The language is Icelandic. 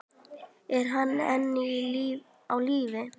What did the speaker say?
Er hann enn á lífi?